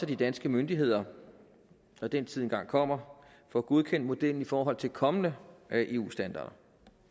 de danske myndigheder når den tid engang kommer får godkendt modellen i forhold til kommende eu standarder